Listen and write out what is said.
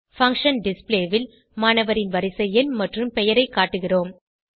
function display ல் மாணவரின் வரிசை எண் மற்றும் பெயரை காட்டுகிறோம்